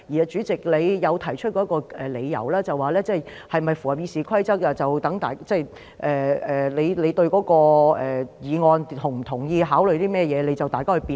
主席，你曾提出的一個理由就是，是否符合《議事規則》，取決於大家對議案是否同意、考慮甚麼，於是讓議員辯論。